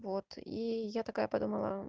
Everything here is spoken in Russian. вот и я такая потом